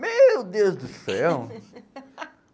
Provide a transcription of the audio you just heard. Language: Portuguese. Meu Deus do céu!